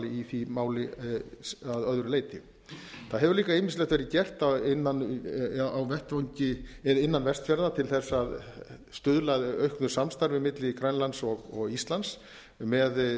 í því máli að öðru leyti það hefur líka ýmislegt verið gert innan vestfjarða til að stuðla að auknu samstarfi milli grænlands og íslands með